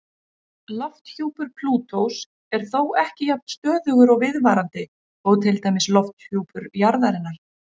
Lofthjúpur Plútós er þó ekki jafn stöðugur og viðvarandi og til dæmis lofthjúpur jarðarinnar.